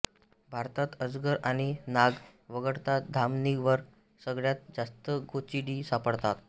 भारतात अजगर आणि नाग वगळता धामणीवर सगळ्यात जास्त गोचिडी सापडतात